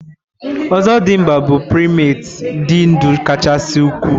Ozodimgba bụ primetii dị ndụ kachasị ukwuu.